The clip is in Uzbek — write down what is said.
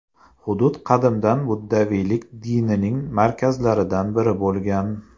Hudud qadimdan buddaviylik dinining markazlaridan biri bo‘lgan.